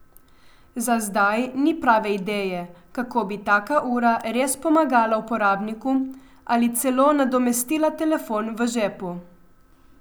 Za zdaj ni prave ideje, kako bi taka ura res pomagala uporabniku ali celo nadomestila telefon v žepu.